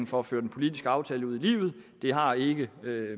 for at føre den politiske aftale ud i livet det har ikke